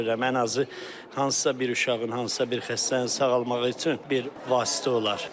Ən azı hansısa bir uşağın, hansısa bir xəstənin sağalmağı üçün bir vasitə olar.